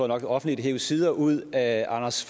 nok offentligt hev sider ud af anders